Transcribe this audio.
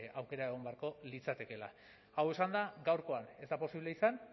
aukera egon beharko litzatekeela hau esanda gaurkoan ez da posible izan